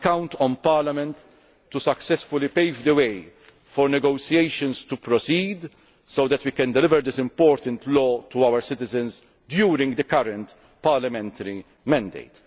I count on Parliament to successfully pave the way for negotiations to proceed so that we can deliver this important law to our citizens during the current parliamentary mandate.